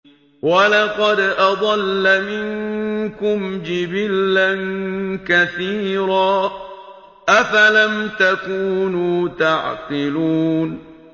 وَلَقَدْ أَضَلَّ مِنكُمْ جِبِلًّا كَثِيرًا ۖ أَفَلَمْ تَكُونُوا تَعْقِلُونَ